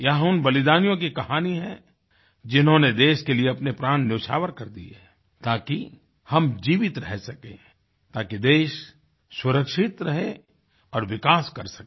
यहाँ उन बलिदानियों की कहानी है जिन्होंने देश के लिए अपने प्राण नयौछावर कर दिए हैं ताकि हम जीवित रह सकें ताकि देश सुरक्षित रहे और विकास कर सके